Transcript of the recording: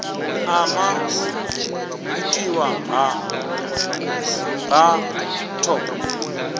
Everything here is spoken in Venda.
ama u itiwa ha batho